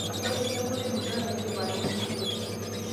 ore sii enkotoi musana idim atuunishore